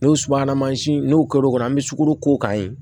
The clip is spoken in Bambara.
N'o subahana mansin n'u kɔr'o kɔnɔ an bɛ sukoro k'o kan yen